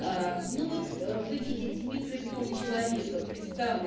ну вот вы видите микробиом человека представлен